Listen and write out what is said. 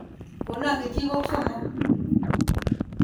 Kono kechikok somok.